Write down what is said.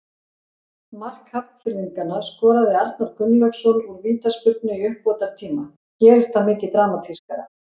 Mark Hafnfirðinganna skoraði Arnar Gunnlaugsson úr vítaspyrnu í uppbótartíma- gerist það mikið dramatískara?